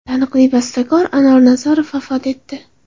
Taniqli bastakor Anor Nazarov vafot etdi.